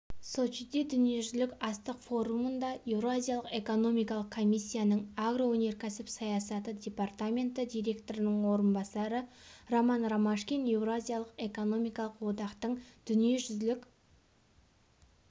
сочиде дүниежүзілік астық форумында еуразиялық экономикалық комиссияның агроөнеркәсіп саясаты департаменті директорының орынбасары роман ромашкин еуразиялық экономикалық одақтың дүниежүзілік